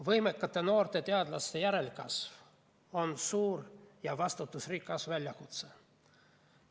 Võimekate noorte teadlaste järelkasv on suur ja vastutusrikas väljakutse.